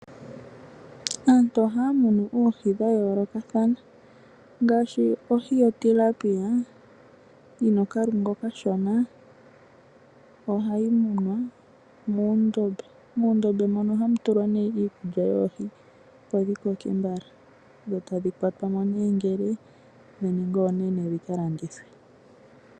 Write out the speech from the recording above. Aantu ohaya munu oohi dha yoolokathana ngaashi ohi yotilapia yi na okalungu okashona ohayi munwa muundombe mono hamu tulwa nee iikulya yoohi opo dhi koke mbala dho tadhi kwatwamo nee ngele dha ningi oonene dhika landithwe.